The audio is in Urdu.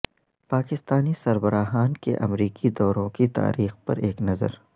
پاکستانی سربراہان کے امریکی دوروں کی تاریخ پر ایک نظر